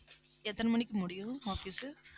எத்தனை மணிக்கு முடியும் office உ